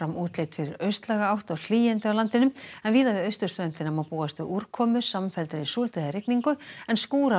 útlit fyrir austlæga átt og hlýindi á landinu en víða við austurströndina má búast við úrkomu samfelldri súld eða rigningu en